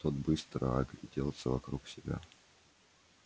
тот быстро огляделся вокруг себя